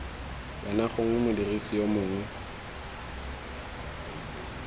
wena gongwe modirisi yo mongwe